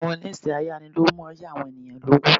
Àwọn ilésé ayánilówó máa yá àwọn ènìyàn lówó